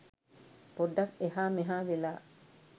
පොඩ්ඩක් එහා මෙහා වෙලා